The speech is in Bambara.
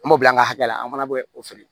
An m'o bila an ka hakɛ la an fana bɛ o feere